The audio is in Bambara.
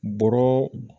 Bɔrɔ